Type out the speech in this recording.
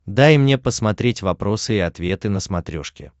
дай мне посмотреть вопросы и ответы на смотрешке